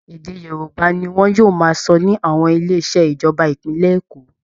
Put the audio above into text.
Ede Yorùbá ni wọn yóò máa sọ ní àwọn ilé iṣẹ́ ìjọba ìpínlẹ̀ Èkó